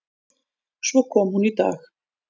Svo kom hún í dag.